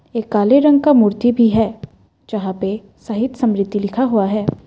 एक काले रंग का मूर्ति भी है जहां पे शहीद स्मृति लिखा हुआ है।